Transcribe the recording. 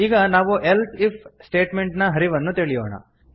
ಈಗ ನಾವು else if statement ನ ಹರಿವನ್ನು ತಿಳಿಯೋಣ